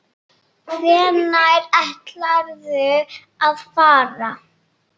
Hvenær ætlarðu að fara?